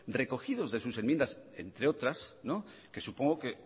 recogidos de sus enmiendas entre otras que supongo que